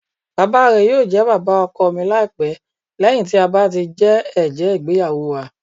Bàbá rẹ yóò jẹ bàbá ọkọ mi laipẹ lẹhin ti a ba ti jẹ ẹjẹ igbeyawo wa.